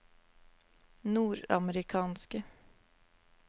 nordamerikanske